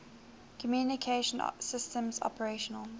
communication systems operational